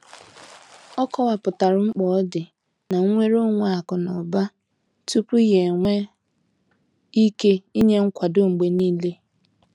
Ọ kọwapụtara mkpa ọdị na nnwere onwe akụ na ụba tupu ya enwee ike inye nkwado mgbe niile.